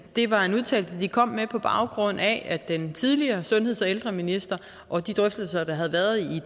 det var en udtalelse de kom med på baggrund af at den tidligere sundheds og ældreminister og de drøftelser der havde været i